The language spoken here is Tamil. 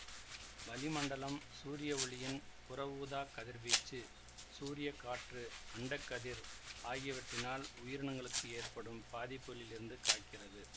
வளிமண்டலம் சூரியவொளியின் புறவூதாக் கதிர்வீச்சு சூரிய காற்று அண்ட கதிர் ஆகியவற்றினால் உயிரினங்களுக்கு ஏற்படும் பாதிப்புகளில் இருந்து காக்கிறது